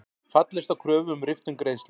Fallist á kröfu um riftun greiðslu